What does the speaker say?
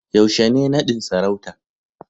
yaushe ne nadin sarauta